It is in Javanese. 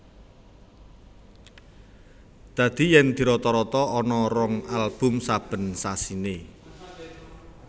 Dadi yen dirata rata ana rong album saben sasiné